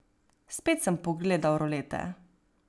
Spet sem pogledal rolete.